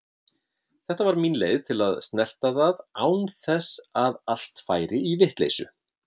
Þetta var mín leið til að snerta það án þess að allt færi í vitleysu.